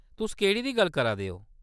तुस केह्‌ड़ी दी गल्ल करा दे ओ ?